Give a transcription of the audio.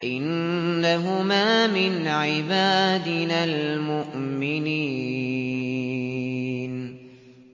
إِنَّهُمَا مِنْ عِبَادِنَا الْمُؤْمِنِينَ